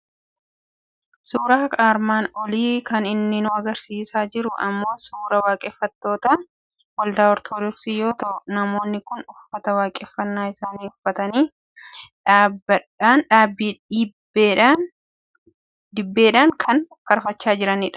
Suuraan armaan olii kan inni nu argisiisaa jiru immoo suuraa waaqeffattoota Waldaa Ortodoksii yoo ta'u, namoonni kun uffata waaqeffannaa isaanii uffatanii, dibbeedhaan faarfachaa kan jiranidha. Hundi isaanii uffata qeenxee uffatu.